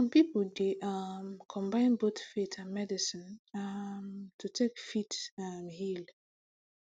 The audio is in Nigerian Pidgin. some people dey um combine both faith and medicine um to take fit um heal